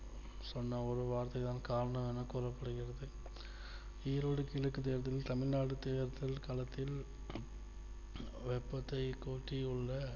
சொன்ன ஒரு வார்த்தைதான் காரணம் என்று கூறப்படுகிறது ஈரோடு கிழக்குத் தேர்தலில் தமிழ்நாடு தேர்தல் களத்தில் வெப்பத்தை கூட்டி உள்ள